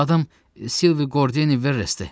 Adam Silvi Qordeniverisdir.